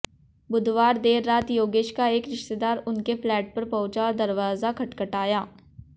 बुधवार देर रात योगेश का एक रिश्तेदार उनके फ्लैट पर पहुंचा और दरवाजा खटखटाया